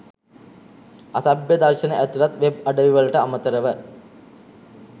අසභ්‍ය දර්ශන ඇතුළත් වෙබ් අඩවිවලට අමතරව